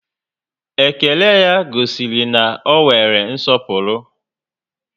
Ékélé ya gosiri na ọ nwere nsọpụrụ